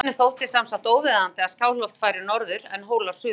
Skáldinu þótti sem sagt óviðeigandi að Skálholt færi norður en Hólar suður.